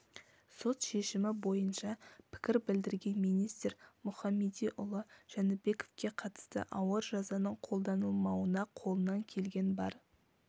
сот шешімі бойынша пікір білдірген министр мұхамедиұлы жәнібековке қатысты ауыр жазаның қолданылмауына қолынан келген бар